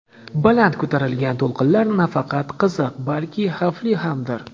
Baland ko‘tariladigan to‘lqinlar nafaqat qiziq, balki xavfli hamdir.